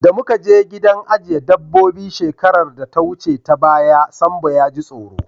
Da muka je gidan ajiye dabobbi shekarar da ta wuce ta baya, Sambo ya ji tsoro.